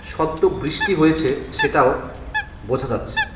সদ্য বৃষ্টি হয়েছে সেটাও বোঝা যাচ্ছে.